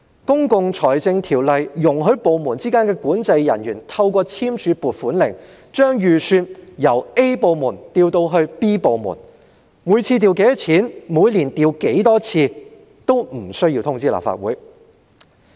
《公共財政條例》容許部門之間的管制人員透過簽署"撥款令"，把預算由 A 部門調至 B 部門，每次調撥多少錢及每年調撥多少次，均無需通知立法會。